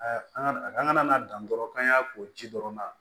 an ŋana dan dɔrɔn k'an y'a ko ji dɔrɔn na